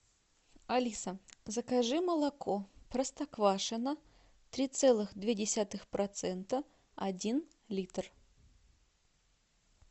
алиса закажи молоко простоквашино три целых две десятых процента один литр